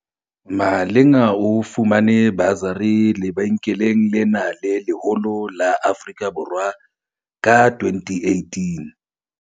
Malinga o fumane basari lebenkeleng lena le leholo la Afrika Borwa ka 2018.